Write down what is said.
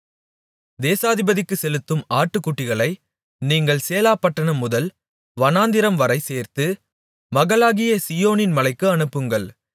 தேசாதிபதிக்குச் செலுத்தும் ஆட்டுக்குட்டிகளை நீங்கள் சேலாபட்டணம் முதல் வனாந்திரம்வரை சேர்த்து மகளாகிய சீயோனின் மலைக்கு அனுப்புங்கள்